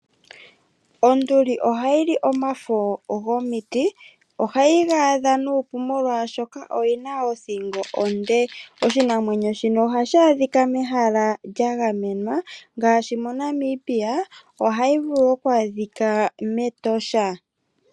Onduli oha yi li omafo gomiti. Oha yi ga adha nuupu, molwaashoka oyi na othingo onde. Oshinamwenyo shika oha shi adhika mehala lya gamenwa, ngaashi MoNamibia oha yi adhika mEtosha.